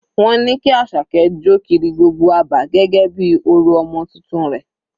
Wọ́n ní kí Asake jọ kiri gbogbo abà gẹ́gẹ́ bí orò ọmọ titun rẹ̀.